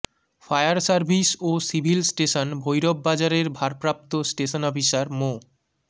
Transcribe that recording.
fire service ও civil station Bhairab বাজারের ভারপ্রাপ্ত স্টেশন অফিসার মো